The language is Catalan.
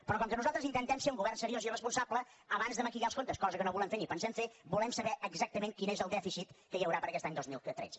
però com que nosaltres intentem ser un govern seriós i responsable abans de maquillar els comptes cosa que no volem fer ni pensem fer volem saber exactament quin és el dèficit que hi haurà per a aquest any dos mil tretze